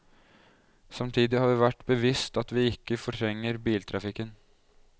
Samtidig har vi vært bevisst at vi ikke fortrenger biltrafikken.